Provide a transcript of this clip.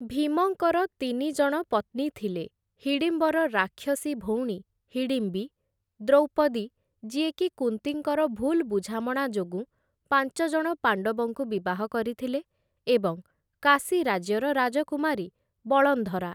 ଭୀମଙ୍କର ତିନିଜଣ ପତ୍ନୀ ଥିଲେ ହିଡ଼ିମ୍ବର ରାକ୍ଷସୀ ଭଉଣୀ, ହିଡ଼ିମ୍ବି, ଦ୍ରୌପଦୀ, ଯିଏକି କୁନ୍ତୀଙ୍କର ଭୁଲ୍‌ ବୁଝାମଣା ଯୋଗୁଁ ପାଞ୍ଚଜଣ ପାଣ୍ଡବଙ୍କୁ ବିବାହ କରିଥିଲେ, ଏବଂ କାଶୀ ରାଜ୍ୟର ରାଜକୁମାରୀ, ବଳନ୍ଧରା ।